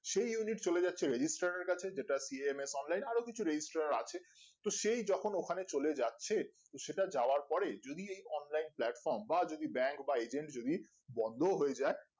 সেই unit চলে যাচ্ছে registered এর কাছে যেটা P M A সামলাই আরো কিছু registered আছে তো সেই যখন ওখানে চলে যাচ্ছে তো সেটা যাওয়ার পরে যদি এই online platform বা যদি bank বা agent যদি বন্ধও হয়ে যাই